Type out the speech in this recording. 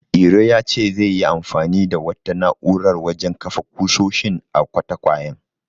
Iro ya ce zai yi anfani da wata na'urar wajen kafa ƙusoshin a katakwayen.